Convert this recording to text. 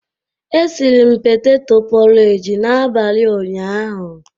E siri m petetọ pọreji n'abalị ụnyaahụ.